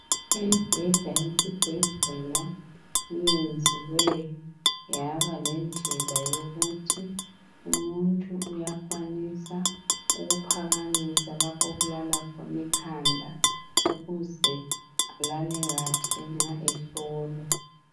Imibheda yesibhedlela iyenziwe yabalendlela yokuthi umuntu uyakwanisa ukuphakamisa lapho okulala khona ikhanda ukuze alale kahle nxa ehlolwa.